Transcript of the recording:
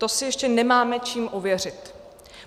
To si ještě nemáme čím ověřit.